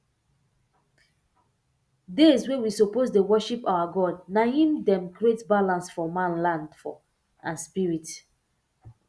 days wey we suppose dey worship our god na hin um create balance for manland um and spirit